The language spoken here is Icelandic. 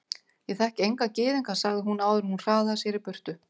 Ég þekki enga gyðinga sagði hún áður en hún hraðaði sér í burtu.